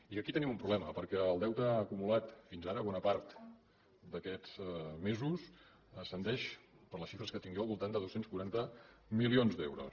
i que aquí tenim un problema perquè el deute acumulat fins ara bona part d’aquests mesos ascendeix per les xifres que tinc jo al voltant de dos cents i quaranta milions d’euros